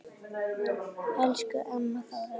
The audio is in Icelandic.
Elsku amma Þóra.